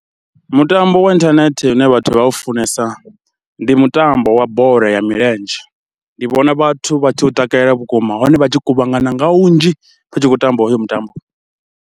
Mutambo wa inthanethe une vhathu vha u funesa ndi mutambo wa bola ya milenzhe, ndi vhona vhathu vha tshi u takalela vhukuma hone vha tshi kuvhangana nga vhunzhi vha tshi khou tamba hoyo mutambo.